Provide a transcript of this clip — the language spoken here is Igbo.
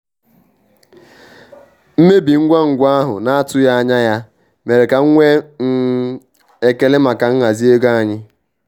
Mmebi ngwa ngwa ahụ na-atụghị anya ya mere ka m nwee um ekele maka nhazi ego anyị.